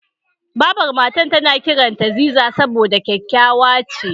Babar Matar na kiranta Ziza saboda kyakkyawa ce.